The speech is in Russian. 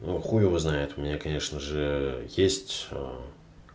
ну хуй его знает у меня конечно же есть